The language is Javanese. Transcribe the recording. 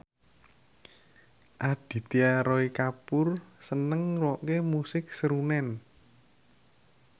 Aditya Roy Kapoor seneng ngrungokne musik srunen